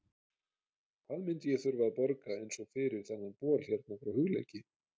Hvað myndi ég þurfa að borga eins og fyrir þennan bol hérna frá Hugleiki?